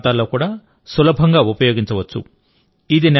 మారుమూల ప్రాంతాల్లో కూడా సులభంగా ఉపయోగించవచ్చు